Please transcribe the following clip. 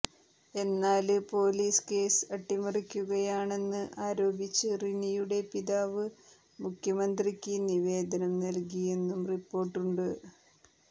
എന്നാല് police case അട്ടിമറിക്കുകയാണെന്ന് ആരോപിച്ച് റിനിയുടെ പിതാവ് മുഖ്യമന്ത്രിക്ക് നിവേദനം നല്കിയെന്നും റിപ്പോര്ട്ടുണ്ട്